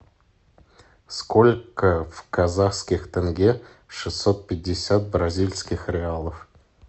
сколько в казахских тенге шестьсот пятьдесят бразильских реалов